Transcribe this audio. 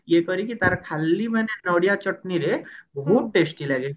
ଇଏ କରିକି ତାର ଖାଲି ମାନେ ନଡିଆ ଚଟଣି ରେ ବହୁତ testy ଲାଗେ